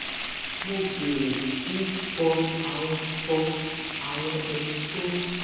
mo bèrè sí í kọ àwọn kọ àwọn ohun tó